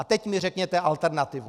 A teď mi řekněte alternativu.